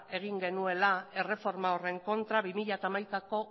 egin genuela erreforma horren kontra bi mila hamaikako